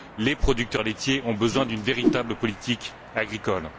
Les producteurs laitiers ont besoin d'une véritable politique agricole.